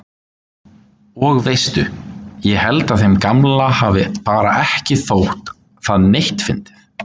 Og veistu. ég held að þeim gamla hafi bara ekki þótt það neitt fyndið.